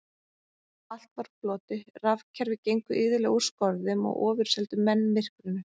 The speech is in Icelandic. Allt var á floti, rafkerfi gengu iðulega úr skorðum og ofurseldu menn myrkrinu.